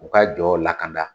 U ka jɔ lakanda.